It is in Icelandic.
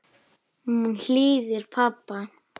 Hún hlýðir pabba.